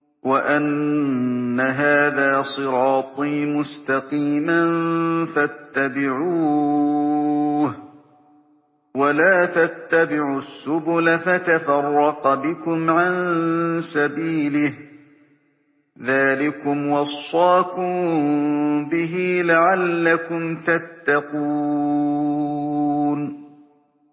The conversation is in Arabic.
وَأَنَّ هَٰذَا صِرَاطِي مُسْتَقِيمًا فَاتَّبِعُوهُ ۖ وَلَا تَتَّبِعُوا السُّبُلَ فَتَفَرَّقَ بِكُمْ عَن سَبِيلِهِ ۚ ذَٰلِكُمْ وَصَّاكُم بِهِ لَعَلَّكُمْ تَتَّقُونَ